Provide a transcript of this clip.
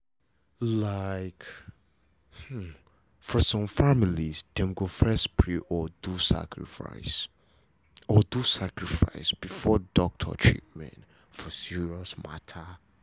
like for some family dem go first pray or do sacrifice or do sacrifice before doctor treatment for serious matter